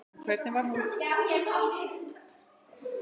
En hvernig var hún?